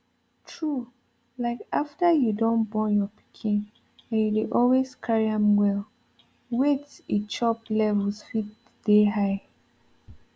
true like after you don born your pikin and you dey always carry am well wait e chop levels fit dey high